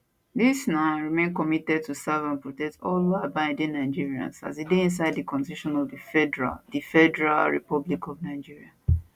di na remain committed to serve and protect all lawabiding nigerians as e dey inside di constitution of di federal di federal republic of nigeria